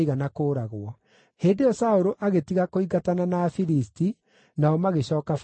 Hĩndĩ ĩyo Saũlũ agĩtiga kũingatana na Afilisti, nao magĩcooka bũrũri-inĩ wao.